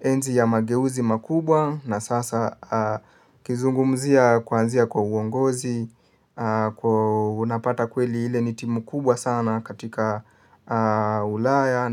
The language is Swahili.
Enzi ya mageuzi makubwa na sasa kizungumzia kuanzia kwa uongozi, unapata kweli ile ni timu kubwa sana katika ulaya